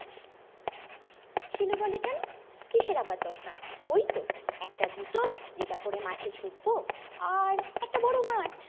শিলু বলে কেন কিসের আবার দরকার ওই তো একটা জুতো যেটা পরে মাঠে ছুটবো আর একটা বড় মাঠ